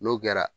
N'o kɛra